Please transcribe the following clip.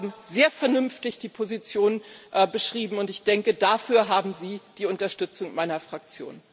Sie haben sehr vernünftig die Position beschrieben, und ich denke, dafür haben Sie die Unterstützung meiner Fraktion.